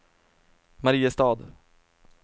Mariestad